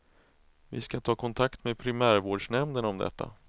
Vi skall ta kontakt med primärvårdsnämnden om detta.